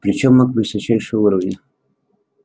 причём маг высочайшего уровня